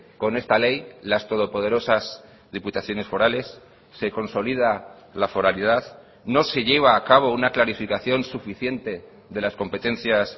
con esta ley las todo poderosas diputaciones forales se consolida la foralidad no se lleva a cabo una clarificación suficiente de las competencias